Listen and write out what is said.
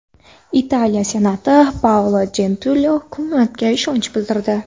Italiya senati Paolo Jentiloni hukumatiga ishonch bildirdi.